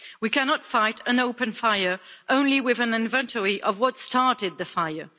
We cannot fight an open fire only with an inventory of what started the fire.